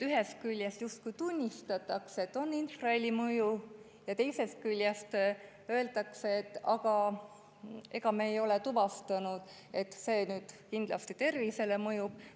Ühest küljest justkui tunnistatakse, et infrahelil mõju on, teisest küljest öeldakse, et aga me ei ole tuvastanud, et see nüüd kindlasti tervisele mõjub.